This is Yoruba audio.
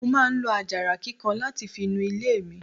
Mo máa ń lo àjàrà kíkan láti fi nu ilé mi.